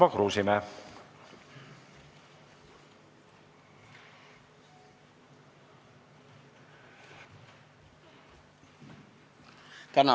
Tarmo Kruusimäe.